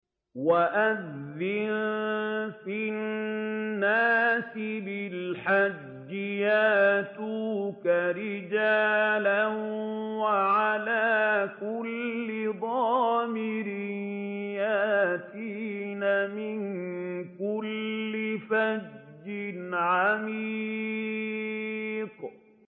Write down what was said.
وَأَذِّن فِي النَّاسِ بِالْحَجِّ يَأْتُوكَ رِجَالًا وَعَلَىٰ كُلِّ ضَامِرٍ يَأْتِينَ مِن كُلِّ فَجٍّ عَمِيقٍ